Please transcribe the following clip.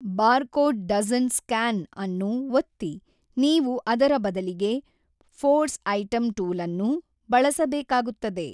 Barcode doesn't ಸ್ಕ್ಯಾನ್ಅನ್ನು ಒತ್ತಿ ನೀವು ಅದರ ಬದಲಿಗೆ ಫೋರ್ಸ್ ಐಟಂ ಟೂಲನ್ನು ಬಳಸಬೇಕಾಗುತ್ತದೆ.